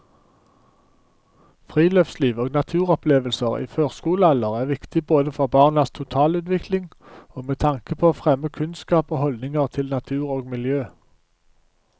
Friluftsliv og naturopplevelser i førskolealder er viktige både for barnas totalutvikling og med tanke på å fremme kunnskap og holdninger til natur og miljø.